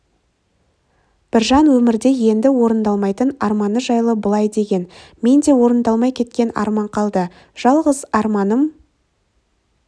біржан өмірде енді орындалмайтын арманы жайлы былай деген мен де орындалмай кеткен арман қалды жалғыз арманым